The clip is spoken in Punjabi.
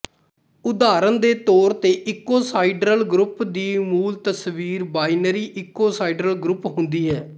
ਉਦਾਹਰਨ ਦੇ ਤੌਰ ਤੇ ਇਕੋਸਾਹੀਡਰਲ ਗਰੁੱਪ ਦੀ ਮੂਲ ਤਸਵੀਰ ਬਾਇਨਰੀ ਇਕੋਸਾਹੀਡਰਲ ਗਰੁੱਪ ਹੁੰਦੀ ਹੈ